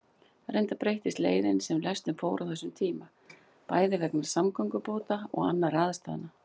Reyndar breyttist leiðin sem lestin fór á þessum tíma, bæði vegna samgöngubóta og annarra aðstæðna.